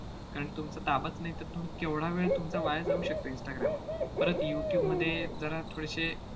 कारण तुमचा ताबाच नाही तर तुम्ही केवढा वेळ तुमचा वाया जाऊ शकतो instagram वर. परत youtube मध्ये जरा थोडेसे